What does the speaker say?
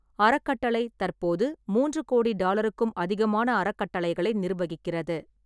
அறக்கட்டளை தற்போது மூன்று கோடி டாலருக்கும் அதிகமான அறக்கட்டளைகளை நிர்வகிக்கிறது.